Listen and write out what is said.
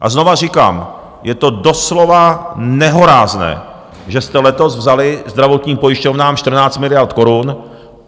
A znovu říkám, je to doslova nehorázné, že jste letos vzali zdravotním pojišťovnám 14 miliard korun.